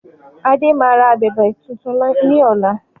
Adé máa ra abẹ̀bẹ̀ tuntun ni ọ̀la